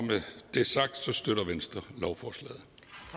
med det sagt støtter venstre lovforslaget